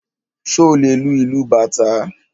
Ṣé o lè lu ìlú bàtá?